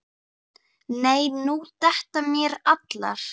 nei nú detta mér allar.